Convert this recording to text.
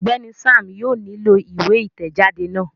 Ọgbẹni Sam yóò nilo iwe itẹjade náà